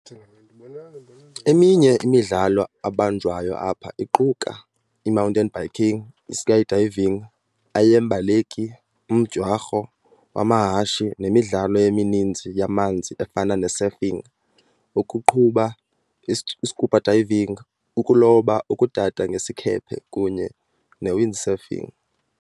Eminye imidlalo ebanjwayo apha iquka, imountain biking, iskydiving, aeyeembaleki, umdyarho wamahashe nemmidlalo emininzi yamanzi efana nesurfing, ukuqubha, iscuba diving, ukuloba, ukudada ngesikhephe, kunye newindsurfing.